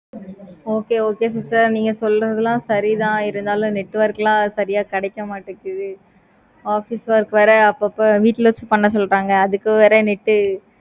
okay okay sister நீங்க சொல்றது எல்லாம் சரி தான் இருந்தாலும் network எல்லாம் சரியா கிடைக்க மாடிக்குது. office work வேற அப்போ அப்போ week days ல பண்ண சொல்றாங்க. அதுக்கு வேற நேத்து